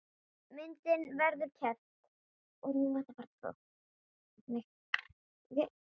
Myndin verður keypt.